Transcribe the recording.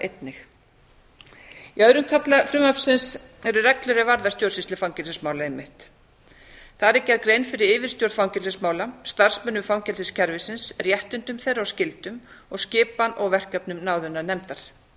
einnig í öðrum kafla frumvarpsins eru reglur er varða stjórnsýslu fangelsismála einmitt þar er gerð grein fyrir yfirstjórn fangelsismála starfsmönnum fangelsiskerfisins réttindum þeirra og skyldum og skipan og verkefnum náðunarnefndar með